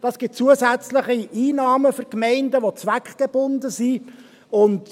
Das gibt für die Gemeinden zusätzliche Einnahmen, die zweckgebunden sind.